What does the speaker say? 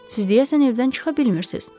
Siz deyəsən evdən çıxa bilmirsiniz.